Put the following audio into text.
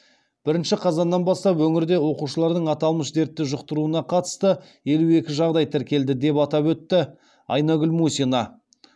бірінші қазаннан бастап өңірде оқушылардың аталмыш дертті жұқтыруына қатысты елу екі жағдай тіркелді деп атап өтті айнагүл мусина